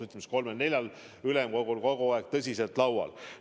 Ütleme siis, kolmel-neljal ülemkogul tõsiselt laual.